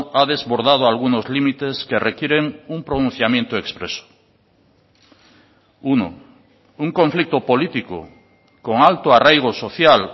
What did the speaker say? ha desbordado algunos límites que requieren un pronunciamiento expreso uno un conflicto político con alto arraigo social